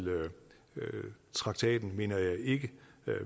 traktaten mener jeg ikke